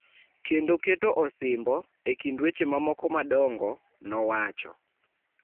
kendo keto osimbo, e kind weche mamoko madongo, nowacho.